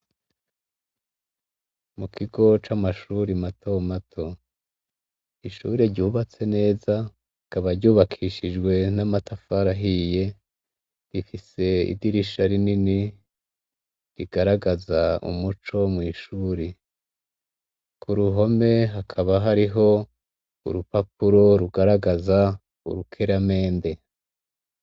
Ikigo c'amashure matomato, n'ishure ryubatse neza rikaba ryubakishijwe n'amatafari ahiye. Rifise idirisha rinini rigaragaza umuco mw'ishuri.K ruhome hakaba hariho urupapuro rugaragaza urukiramende.